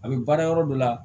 A bɛ baara yɔrɔ dɔ la